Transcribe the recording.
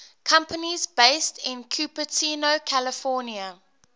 companies based in cupertino california